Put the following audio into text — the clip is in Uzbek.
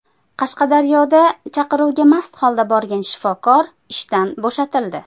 Qashqadaryoda chaqiruvga mast holda borgan shifokor ishdan bo‘shatildi .